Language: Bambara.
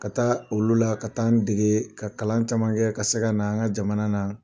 Ka taa olu la ka taa n degege ka kalan caman kɛ ka se ka na an ka jamana na.